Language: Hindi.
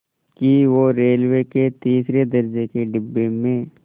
कि वो रेलवे के तीसरे दर्ज़े के डिब्बे में